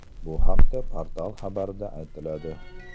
Bu haqda portal xabarida aytiladi .